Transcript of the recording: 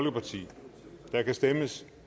der kan stemmes